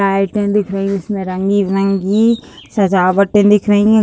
लाइटें दिख रहीं हैं। इसमें रंगी-रंगी सजावटें दिख रहीं हैं।